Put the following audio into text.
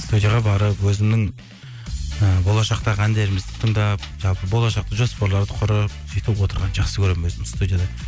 студияға барып өзімнің і болашақтағы әндерімізді тыңдап жалпы болшаққа жоспарларды құрып сөйтіп отырғанды жақсы көремін өзім студияда